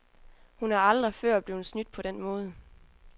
Hun er aldrig før blevet snydt på den måde.